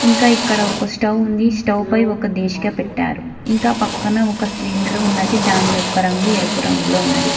ఇంకా ఇక్కడ ఒక స్టవ్ ఉంది స్టవ్ పై ఒక డేశిక పెట్టారు ఇంకా పక్కన ఒక సిలిండర్ ఉన్నది దాని యొక్క రంగు ఎరుపు రంగులో ఉన్నది.